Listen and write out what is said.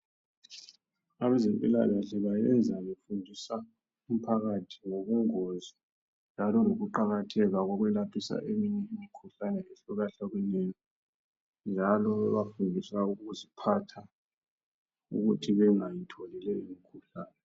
Abezempilakahle bayenza befundisa umphakathi ngobungozi njalo lokuqakatheka bokwelaphisa imkhuhlane ehlukahlukeneyo njalo bebafundisa ukuziphatha ukuthi bengathole belomkhuhlane.